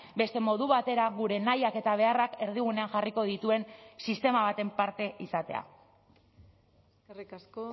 beste modu batera gure nahiak eta beharrak erdigunean jarriko dituen sistema baten parte izatea eskerrik asko